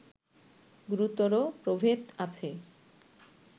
গুরুতর প্রভেদ আছে